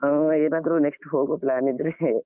ಆಹ್ ಏನಾದ್ರೂ next ಹೋಗೊ plan ಇದ್ರೆ ಹೆ.